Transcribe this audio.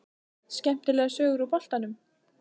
Skemmtilegar sögur úr boltanum?